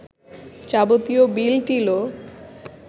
যাবতীয় বিল-টিলও